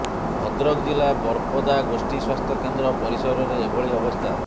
ଭଦ୍ରକ ଜିଲ୍ଲା ବରପଦା ଗୋଷ୍ଠୀ ସ୍ବାସ୍ଥ୍ୟ କେନ୍ଦ୍ର ପରିସରରେ ଏଭଳି ଅବସ୍ଥା